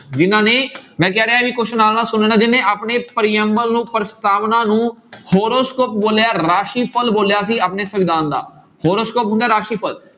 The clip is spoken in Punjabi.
ਜਿਹਨਾਂ ਨੇ ਮੈਂ ਕਹਿ ਰਿਹਾ ਵੀ question ਨਾਲ ਨਾਲ ਸੁਣਨਾ ਜਿਹਨੇ ਆਪਣੇ ਪ੍ਰਿਅੰਬਲ ਨੂੰ ਪ੍ਰਸਤਾਵਨਾ ਨੂੰ horoscope ਬੋਲਿਆ ਰਾਸ਼ੀਫ਼ਲ ਬੋਲਿਆ ਸੀ ਆਪਣੇ ਸੰਵਿਧਾਨ ਦਾ horoscope ਹੁੰਦਾ ਹੈ ਰਾਸੀਫ਼ਲ।